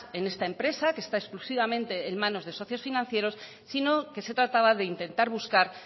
en esta empresa que esta exclusivamente en manos de socios financieros sino que se trataba de intentar buscar